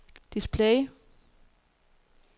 display